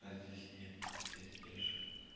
блять здесь нет вот здесь вижу